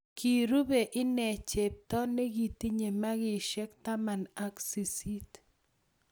Kirube inne chepto ne kitinye makishe taman ak sisit.